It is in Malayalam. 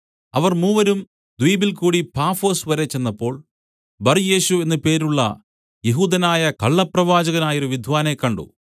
അവർ മൂവരും ദ്വീപിൽകൂടി പാഫൊസ് വരെ ചെന്നപ്പോൾ ബർയേശു എന്ന് പേരുള്ള യെഹൂദനായ കള്ളപ്രവാചകനായൊരു വിദ്വാനെ കണ്ട്